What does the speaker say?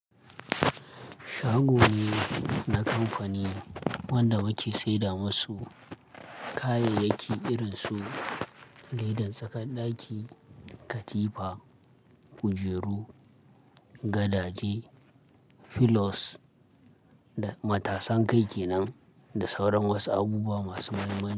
Shago ne na kamfani wanda muke saida masu kayayyaki irin su ledan tsakan ɗaki, katifa, kujeru, gadaje, filos da matasan kai kenan da sauran wasu abubuwa masu mahimmanci.